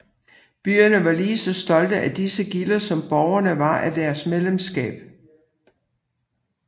Byerne var lige så stolte af disse gilder som borgerne var af deres medlemskab